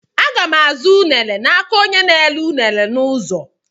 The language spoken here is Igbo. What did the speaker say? Àga m azụ m unere n'aka onyenna-ere unere n'ụzọ.